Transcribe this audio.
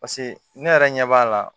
Paseke ne yɛrɛ ɲɛ b'a la